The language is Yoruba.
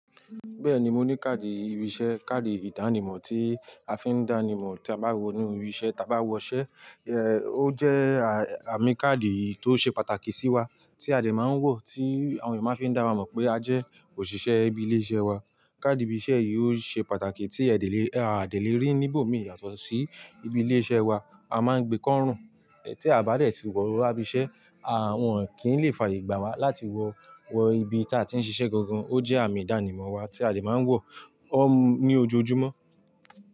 Bẹ́ẹ̀ni, mo ní káàdì ìbìṣẹ́, káàdì ìdánimọ̀ tí a fi ń dá nimọ̀ tí a bá wọ inú ibiṣẹ́, tí a bá wọṣẹ́. Ẹ, ó jẹ́ àmì káàdì tó ṣe pàtàkì sí wa tí a dè máa ń wọ̀ tí àwọn èèyàn máa ń fi dáwa mọ̀ pé a jẹ́ òṣìṣẹ́ ibi ilé iṣẹ́ wa. Káàdì ibi iṣe yìí ó ṣe pàtàkì tí e de lè, a de lè rí níbòmí yàtọ̀ sí ibi ilé iṣẹ́ wa, a máa ń gbé kọ́ rùn. Ẹ, tí a bá dẹ̀ tí wọ̀o wa ibise, àa, wọn kìn lè fàayè gbà wá láti wọ̀ wọ ibi tí a ti ń ṣiṣẹ́ gangan. Ó jẹ́ àmì ìdánimọ̀ wa tí a dè máa ń wọ̀ ọ́ ní ojoojúmọ́.